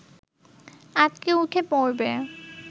আঁতকে উঠে পড়বে